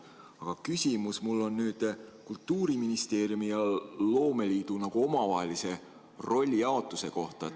Aga küsimus on mul Kultuuriministeeriumi ja loomeliidu omavahelise rollijaotuse kohta.